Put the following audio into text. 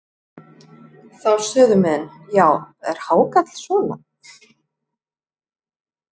Þá sögðu menn: Já, er hákarl svona?